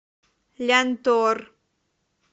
лянтор